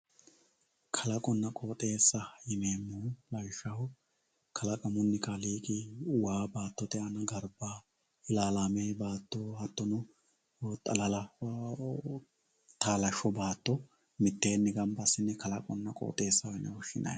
Kalaqona qooxesa yinemohu lawishaho kalaqamuni kaaliqi waa batote garbaho ilaalame baato xalalaho hatono taalasho baato miteeni ganba asine kalaqamu qooxesa yine woshinayi